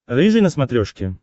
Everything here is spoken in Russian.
рыжий на смотрешке